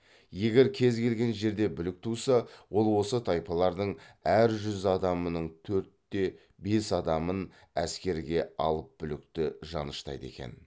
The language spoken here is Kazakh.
егер кез келген жерде бүлік туса ол осы тайпалардың әр жүз адамының төртте бес адамын әскерге алыпбүлікті жаныштайды екен